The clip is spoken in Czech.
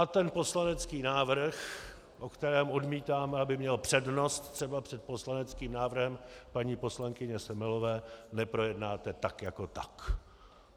A ten poslanecký návrh, o kterém odmítáme, aby měl přednost třeba před poslaneckým návrhem paní poslankyně Semelové, neprojednáte tak jako tak.